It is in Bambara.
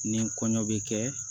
Ni kɔɲɔ bɛ kɛ